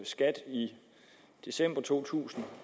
skat i december to tusind